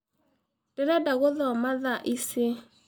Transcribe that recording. Ndĩrenda gũkoma thaa ĩcĩ.